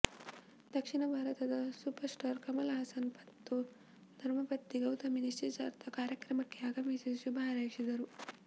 ದಕ್ಷಿಣ ಭಾರತದ super star Kamal Haasan ಮತ್ತು ಧರ್ಮಪತ್ನಿ ಗೌತಮಿ ನಿಶ್ಚಿತಾರ್ಥ ಕಾರ್ಯಕ್ರಮಕ್ಕೆ ಆಗಮಿಸಿ ಶುಭಹಾರೈಸಿದರು